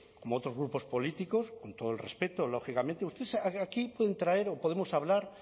como otros grupos políticos con todo el respeto lógicamente ustedes aquí pueden traer o podemos hablar